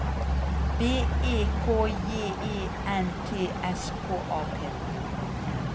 B E K J E N T S K A P